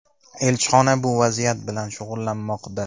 Elchixona bu vaziyat bilan shug‘ullanmoqda.